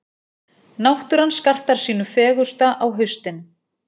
Náttúran skartar sínu fegursta á haustin.